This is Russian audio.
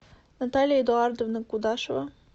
наталья эдуардовна кудашева